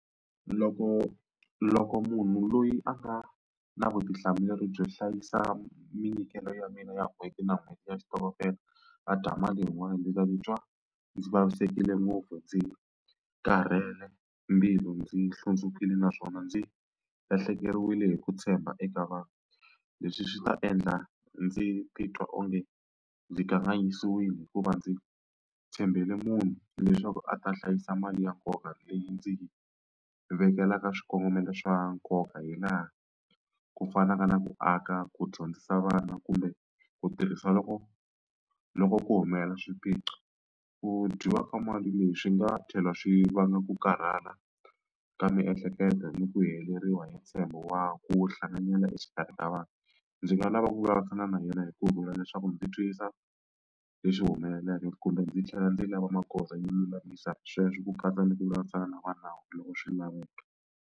Loko loko munhu loyi a nga na vutihlamuleri byo hlayisa minyikelo ya mina ya n'hweti na n'hweti ya xitokofela a dya mali yin'wani ndzi ta titwa ndzi vavisekile ngopfu, ndzi karhele mbilu, ndzi hlundzukile naswona ndzi lahlekeriwile hi ku tshemba eka vanhu. Leswi swi ta endla ndzi titwa onge ndzi kanganyisiwile hikuva ndzi tshembele munhu leswaku a ta hlayisa mali ya nkoka leyi ndzi vekelaka swikongomelo swa nkoka hi laha ku fana na na ku aka ku dyondzisa vana, kumbe ku tirhisa loko loko ku humelela swipiqo. Mu dyiwa ka mali leyi swi nga tlhela swi vanga ku karhala ka miehleketo ni ku heleriwa hi ntshembo wa ku hlanganyela exikarhi ka vanhu. Ndzi nga lava ku vulavurisana na yena hi kurhula leswaku ndzi twisisa leswi humeleleke kumbe ndzi tlhela ndzi lava magoza yo lulamisa sweswo ku katsa ni ku vulavurisana na va nawu loko swi laveka.